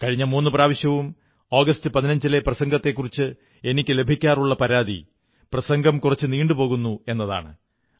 കഴിഞ്ഞ മൂന്നു പ്രാവശ്യവും ആഗസ്റ്റ് 15 ലെ പ്രസംഗത്തെക്കുറിച്ച് എനിക്കു ലഭിക്കാറുള്ള പരാതി പ്രസംഗം കുറച്ച് നീണ്ടു പോകുന്നു എതാണ്